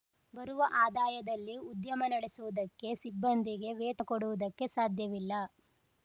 ಬರುವ ಆದಾಯದಲ್ಲಿ ಉದ್ಯಮ ನಡೆಸುವುದಕ್ಕೆ ಸಿಬ್ಬಂದಿಗೆ ವೇತ ಕೊಡುವುದಕ್ಕೆ ಸಾಧ್ಯವಿಲ್ಲ